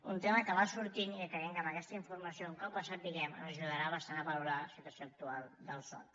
un tema que va sortint i que creiem que amb aquesta informació un cap la sapiguem ajudarà bastant a valorar la situació actual del soc